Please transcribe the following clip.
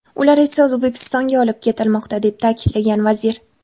Ular esa O‘zbekistonga olib ketilmoqda”, deb ta’kidlagan vazir.